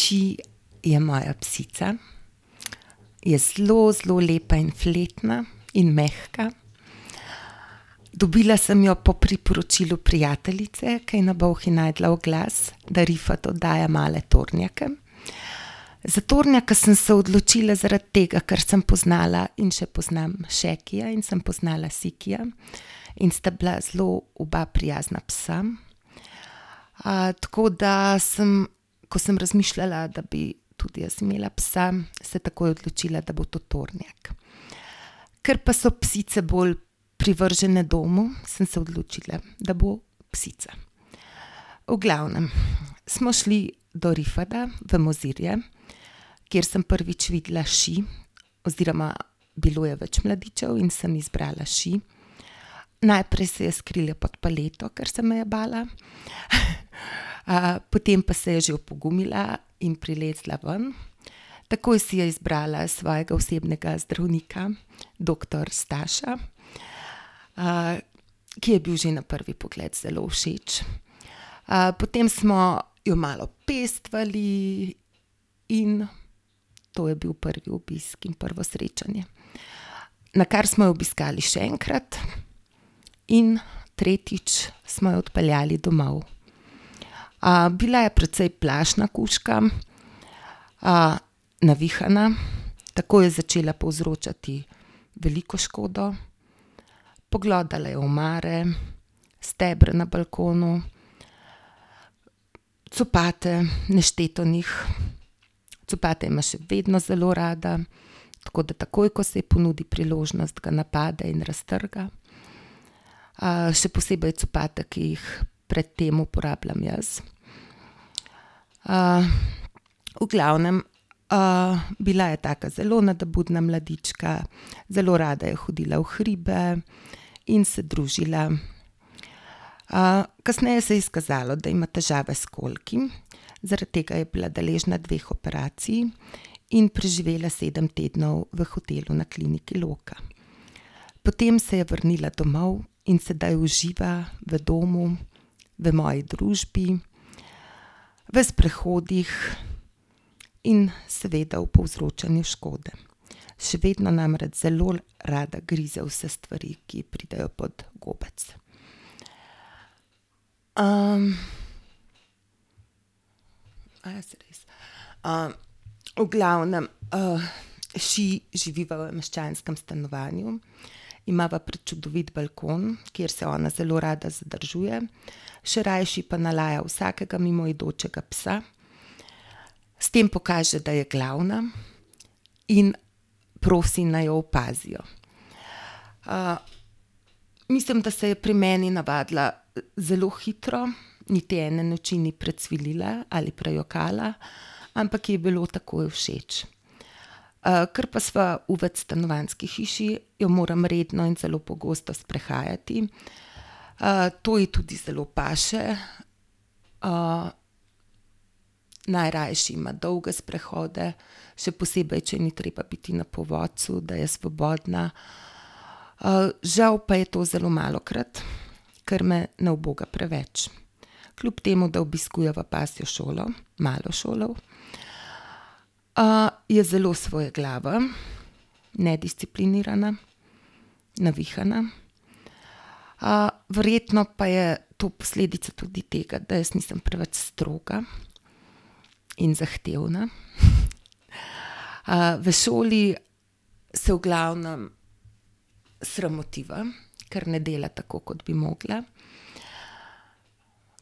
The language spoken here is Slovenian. Ši je moja psica. je zelo, zelo lepa in fletna in mehka. dobila sem jo po priporočilu prijateljice, ki je na Bolhi našla oglas, da Rifat oddaja male tornjake. Za tornjaka sem se odločila zaradi tega, ker sem spoznala in še poznam Šekija in sem poznala Sikija. In sta bila zelo oba prijazna psa. tako da sem, ko sem razmišljala, da bi tudi jaz imela psa, se takoj odločila, da bo to tornjak. Ker pa so psice bolj privržene domu, sem se odločila, da bo psica. V glavnem, smo šli do Rifata v Mozirje, kjer sem prvič videla Ši, oziroma bilo je več mladičev in sem izbrala Ši. Najprej se je skrila pod paleto, ker se me je bala, potem pa se je že opogumila in prilezla ven. Takoj si je izbrala svojega osebnega zdravnika, doktor Staša. ki ji je bil že na prvi pogled zelo všeč. potem smo jo malo pestovali in to je bil prvi obisk in prvo srečanje. Nakar smo jo obiskali še enkrat in tretjič smo jo odpeljali domov. bila je precej plašna kužka, navihana, takoj je začela povzročati veliko škodo. Poglodala je omare, stebra na balkonu, copate, nešteto njih. Copate ima še vedno zelo rada. Tako da takoj, ko se ji ponudi priložnost, ga napade in raztrga. še posebej copate, ki jih pred tem uporabljam jaz. v glavnem, bila je taka zelo nadobudna mladička, zelo rada je hodila v hribe in se družila. kasneje se je izkazalo, da ima težave s kolki, zaradi tega je bila deležna dveh operacij in preživela sedem tednov v hotelu na kliniki Loka. Potem se je vrnila domov in sedaj uživa v domu. v moji družbi, v sprehodih in seveda v povzročanju škode. Še vedno namreč zelo rada grize vse stvari, ki ji pridejo pod gobec. saj res. V glavnem, Ši živi v meščanskem stanovanju, imava prečudovit balkon, kjer se ona zelo rada zadržuje, še rajši pa nalaja vsakega mimoidočega psa. S tem pokaže, da je glavna in prosi, naj jo opazijo. mislim, da se je pri meni navadila zelo hitro, niti ene noči ni precvilila ali prejokala, ampak ji je bilo takoj všeč. kar pa sva v večstanovanjski hiši, jo moram redno in zelo pogosto sprehajati. to je tudi zelo paše. najrajši ima dolge sprehode, še posebej, če ji ni treba biti na povodcu, da je svobodna. žal pa je to zelo malokrat, ker me ne uboga preveč. Kljub temu da obiskujeva pasjo šolo, malo šolo, je zelo svojeglava, nedisciplinirana, navihana. verjetno pa je to posledica tudi tega, da jaz nisem preveč stroga in zahtevna . v šoli se v glavnem sramotiva, ker ne dela tako, kot bi mogla.